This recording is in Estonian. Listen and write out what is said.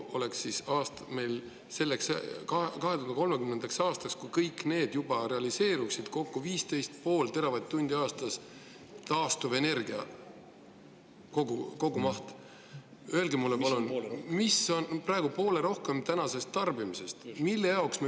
Meil oleks 2030. aastaks, kui kõik need oleks juba realiseerunud, taastuvenergia kogumaht 15,5 teravatt-tundi aastas , mis on tänasest tarbimisest poole rohkem.